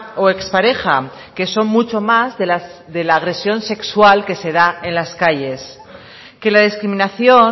o expareja que son mucho más de la agresión sexual que se da en las calles que la discriminación